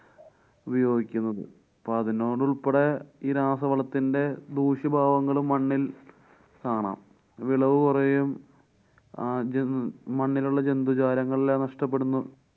ഉപയോഗിക്കുന്നതു. അപ്പൊ അതിനോടുള്‍പ്പെടെ ഈ രാസവളത്തിന്‍ടെ ദൂഷ്യഭാവങ്ങളും മണ്ണില്‍ കാണാം. വിളവുകൊറയും ആ ജന്‍~ മണ്ണിലുള്ള ജന്തുജാലങ്ങളെല്ലാം നഷ്ട്ടപ്പെടുന്നു.